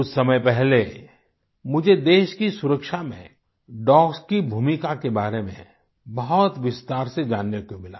कुछ समय पहले मुझे देश की सुरक्षा में डॉग्स की भूमिका के बारे में बहुत विस्तार से जानने को मिला